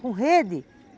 Com rede?